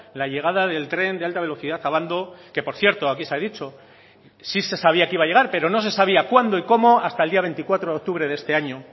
la llegada del tren de alta velocidad a abando que por cierto aquí se ha dicho sí se sabía que iba a llegar pero no se sabía cuándo y cómo hasta el día veinticuatro de octubre de este año